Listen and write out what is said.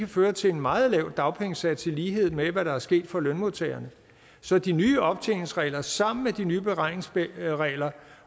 føre til en meget lav dagpengesats i lighed med hvad der er sket for lønmodtagerne så de nye optjeningsregler sammen med de nye beregningsregler